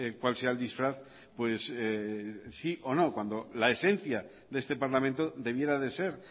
cuál sea el disfraz cuando la esencia de este parlamento debiera de ser